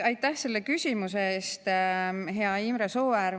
Aitäh selle küsimuse eest, hea Imre Sooäär!